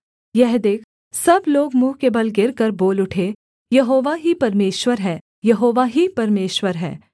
यह देख सब लोग मुँह के बल गिरकर बोल उठे यहोवा ही परमेश्वर है यहोवा ही परमेश्वर है